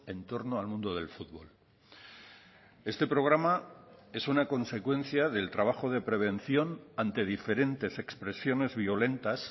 en torno al mundo del futbol este programa es una consecuencia del trabajo de prevención ante diferentes expresiones violentas